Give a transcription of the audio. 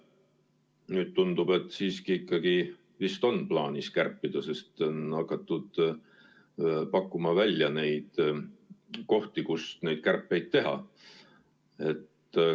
Nüüd tundub, et siiski ikkagi vist on plaanis kärpida, sest on hakatud pakkuma kohti, kus kärpeid teha.